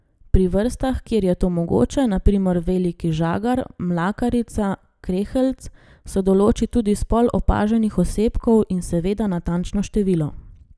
Pri vrstah, kjer je to mogoče, na primer veliki žagar, mlakarica, kreheljc, se določi tudi spol opaženih osebkov in seveda natančno število.